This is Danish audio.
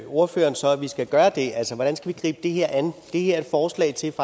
ordføreren så at vi skal gøre det altså hvordan skal vi gribe det her an det her er et forslag til